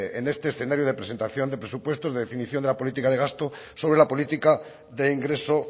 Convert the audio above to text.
en este escenario de presentación de presupuestos definición de la política de gasto sobre la política de ingreso